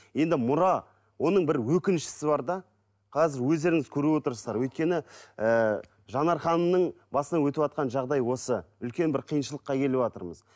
енді мұра оның бір өкінштісі бар да қазір өздеріңіз көріп отырсыздар өйткені і жанар ханымның басынан өтіватқан жағдай осы үлкен бір қиыншылыққа келіватырмыз